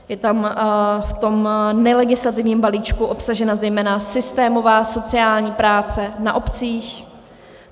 Je tam v tom nelegislativním balíčku obsažena zejména systémová sociální práce na obcích.